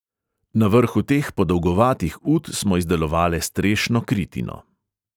"Na vrhu teh podolgovatih ut smo izdelovale strešno kritino."